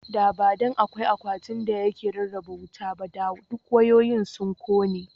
Da ba dan da akwai akwatin da yake rarraba wuta ba (circuit breaker) ba, da duk wayoyin sun kone.